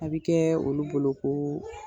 A bi kɛ olu bolo koo